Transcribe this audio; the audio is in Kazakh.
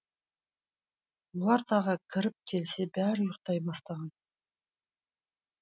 олар тағы кіріп келсе бәрі ұйықтай бастаған